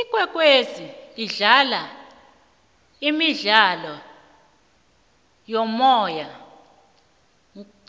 ikwekwezi idlala imidlalo yomoya